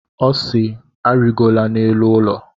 Ọ si, arịgola n'elu ụlọ!